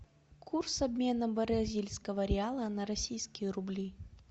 курс обмена бразильского реала на российские рубли